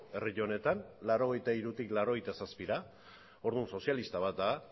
herri honetan mila bederatziehun eta laurogeita hirutik mila bederatziehun eta laurogeita zazpira orduan sozialista bat da